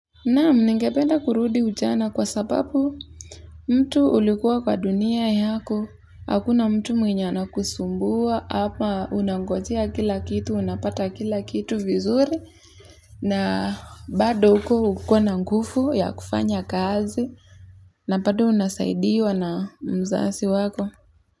Naam ningependa kurudi ujana kwa sababu mtu ulikuwa kwa dunia yako, hakuna mtu mwenye ana kusumbua, hapa unangojea kila kitu, unapata kila kitu vizuri, na bado uko ukiwa na ngufu ya kufanya kazi, na bado unasaidiwa na mzasi wako.